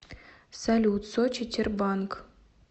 салют сочи тербанк